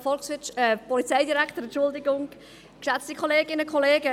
Ich gebe der Motionärin das Wort.